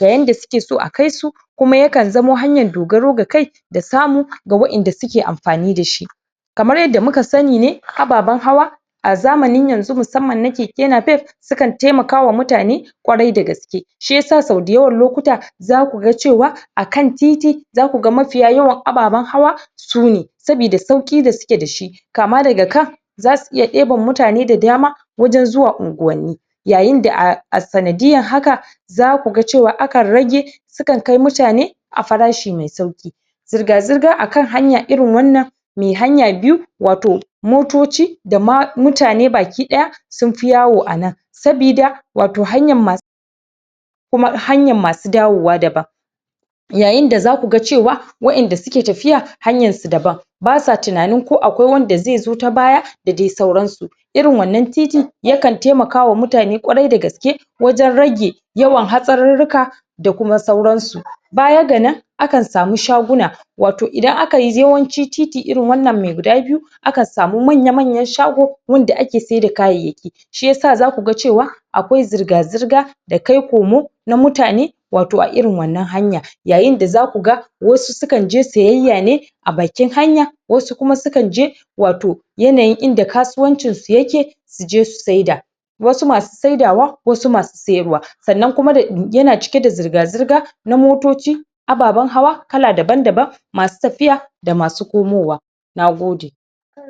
da yadda su ke so a kai su kuma ya kan zamo hanyan dogaro ga kai da samu ga wa'en da suke amfani da shi kamar yadda muka sani ne, ababan hawa a zamanin yanzu masamman na keke napep su kan taimakawa mutane kwarai da gaske shiyasa so dayawan lokuta za ku gan cewa, a kan titi za ku gan mafiya yawa ababan hawa su ne sabida sauki da su ke da shi kama da ga kan za su iya deban mutane da dama wajen zuwan ungwani yayin da a sanadiyan haka za ku gan cewa, a kan rage su kan kai mutane a farashi mai sauki zurga zurga a kan hanya irin wannan mai hanya biyu, wato motoci da ma mutane bakidaya sun fi yawo a nan sabida, wato hanyan masu kuma hanyan masu dawowa daban yayin da za ku gan cewa wa'en da suke tafiya, hanyan su daban ba sa tunanin ko akwai wanda zai zo ta baya da dai sauran su irin wannan titi ya kan taimakawa mutane kwarai da gaske wajen rage yawan hatsaruruka da kuma sauran su baya ga nan a kan samu shaguna wato idan aka yi yawanci titi irin wannan mai guda biyu a kan samu manya manyan shago wanda ake saida kayayaki shiyasa za ku gan cewa akwai zurga zurga da kai komo na mutane wato a irin wannan hanya yayin da za ku gan wasu su kan je siyaya ne a bakin hanya wasu kuma su kan je wato yanayin inda kasuwancin su yake su je, su saida wasu masu saidawa, wasu masu siyarwa sannan kuma da, ya na cike da zurga zurga na motoci ababan hawa kala daban daban masu tafiya, da masu komowa na gode